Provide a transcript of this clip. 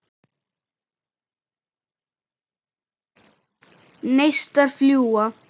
Neistar fljúga.